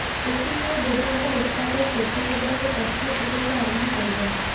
ଏଥି ସହ ବେଦାନ୍ତ ଇସ୍ପାତ ଶିଳ୍ପ କ୍ଷେତ୍ରରେ ପ୍ରଥମ ପ୍ରବେଶ ଆରମ୍ଭ କରିବ